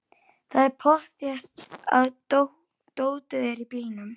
Það er pottþétt að dótið er í bílnum!